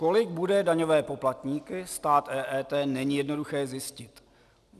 Kolik bude daňové poplatníky stát EET, není jednoduché zjistit.